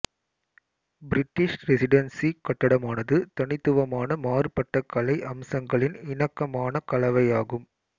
British residency கட்டடமானது தனித்துவமான மாறுபட்ட கலை அம்சங்களின் இணக்கமான கலவையாகும்